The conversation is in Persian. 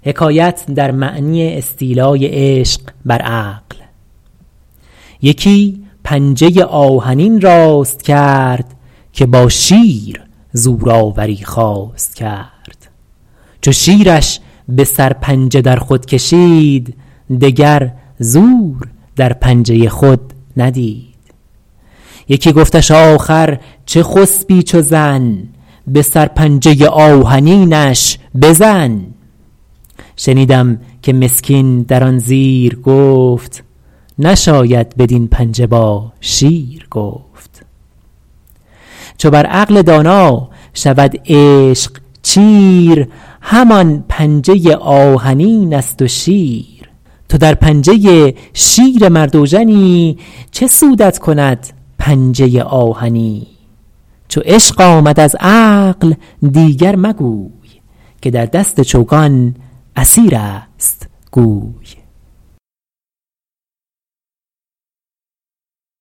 یکی پنجه آهنین راست کرد که با شیر زورآوری خواست کرد چو شیرش به سرپنجه در خود کشید دگر زور در پنجه خود ندید یکی گفتش آخر چه خسبی چو زن به سرپنجه آهنینش بزن شنیدم که مسکین در آن زیر گفت نشاید بدین پنجه با شیر گفت چو بر عقل دانا شود عشق چیر همان پنجه آهنین است و شیر تو در پنجه شیر مرد اوژنی چه سودت کند پنجه آهنی چو عشق آمد از عقل دیگر مگوی که در دست چوگان اسیر است گوی